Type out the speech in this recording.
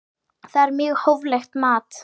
Það er mjög hóflegt mat.